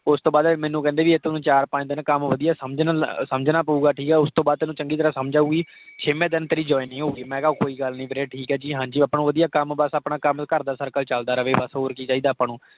ਉਸਤੋਂ ਬਾਅਦ ਮੈਨੂੰ ਕਹਿੰਦੇ ਤੈਨੂੰ ਚਾਰ ਪੰਜ ਦਿਨ ਕੱਮ ਵਧਿਆ ਸਮਝਣਾ ਪਊਗਾ, ਠੀਕ ਹੈ। ਉਸਤੋਂ ਬਾਅਦ ਤੈਨੂੰ ਚੰਗੀ ਤਰਾਹ ਸਮਝ ਆਊਗੀ। ਛੇਵੇਂ ਦਿਨ ਤੇਰੀ joining ਹੋਊਗੀ। ਮੈਂ ਕਿਹਾ ਕੋਈ ਗੱਲ ਨਹੀਂ ਵੀਰੇ, ਠੀਕ ਹੈ ਜੀ, ਹਾਂਜੀ। ਆਪਾਂ ਨੂੰ ਵਧਿਆ ਕੱਮ ਬੱਸ ਘਰ ਦਾ circle ਚਲਦਾ ਰਵੇ ਬੱਸ ਹੋਰ ਕਿ ਚਾਹਿਦਾ ਆਪਾਂ ਨੂੰ।